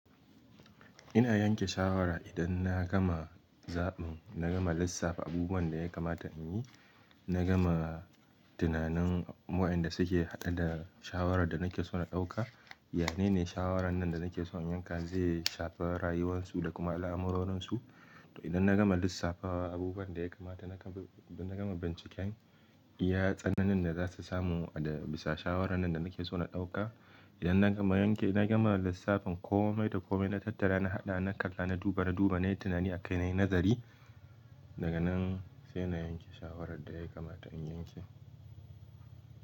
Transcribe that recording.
Ina yanke shawara idan na gama zaɓin, na gama lissafa abubuwan da ya kamata in yi, na gama tunanin waɗanda suke haɗe da shawarar da nake so na ɗauka. Yanene shawaran nan da nake son in yanka zai shafa rayuwarsu da kuma al'amurorinsu? To idan na gama lissafawa abubuwan da ya kamata, da na gama binciken iya tsananin da za su samu a bisa shawarar nan da nake so na ɗauka. Idan na gama yanke, idan na gama lissafin komai da komai na tattara, na haɗa, na kalla, na duba, na duba, na yi tunani akai, na yi nazari daga nan sai na yanke shawarar da ya kamata in yanke.